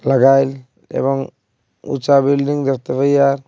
এবং উচা বিল্ডিং দেখতে পাইয়া।